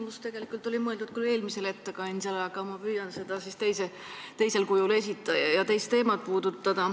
Mu küsimus oli mõeldud küll eelmisele ettekandjale, aga ma püüan seda siis teisel kujul esitada ja teist teemat puudutada.